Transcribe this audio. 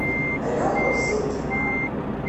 леху зыкина